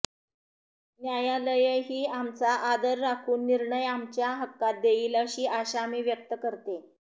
न्यायालयही आमचा आदर राखून निर्णय आमच्या हक्कात देईल अशी आशा मी व्यक्त करते